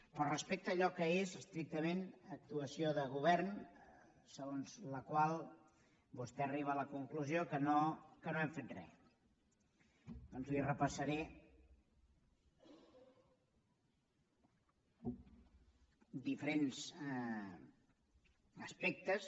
però respecte a allò que és estrictament actuació de govern segons la qual vostè arriba a la conclusió que no hem fet re doncs li repassaré diferents aspectes